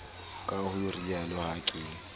ka ho rialo ha ke